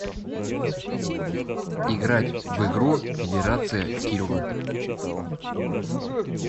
играть в игру федерация килы